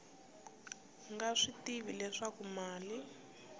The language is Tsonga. nga swi tivi leswaku mali